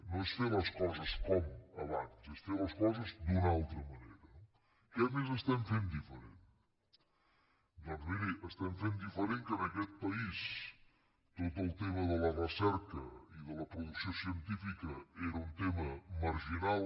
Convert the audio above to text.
no és fer les coses com abans és fer les coses d’una altra manera no què més estem fent diferent doncs miri estem fent diferent que en aquest país tot el tema de la recerca i de la producció científica era un tema marginal